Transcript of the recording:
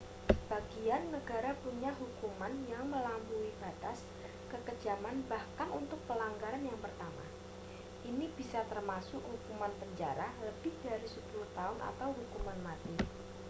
sebagian negara punya hukuman yang melampaui batas kekejaman bahkan untuk pelanggaran yang pertama ini bisa termasuk hukuman penjara lebih dari 10 tahun atau hukuman mati